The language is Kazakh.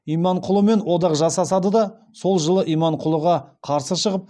иманқұлымен одақ жасасады да сол жылы иманқұлыға қарсы шығып